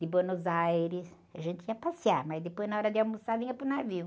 De Buenos Aires, a gente ia passear, mas depois, na hora de almoçar, vinha para o navio.